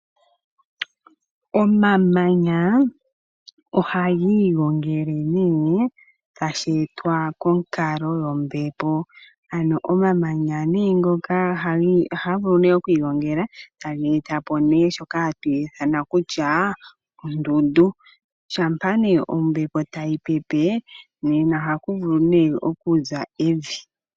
Omamanya ohagi igongele nee tasheetwa konkalo yombepo ano omamanya nee ngoka taga vulu okwiigongela taga etapo nee shoka hatu ithana kutya ondundu shampa nee ombepo tayi pepe ohaku vulu nee okuza evi.